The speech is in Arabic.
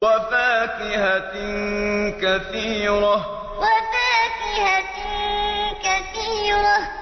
وَفَاكِهَةٍ كَثِيرَةٍ وَفَاكِهَةٍ كَثِيرَةٍ